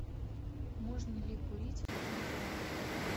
можно ли курить в этом отеле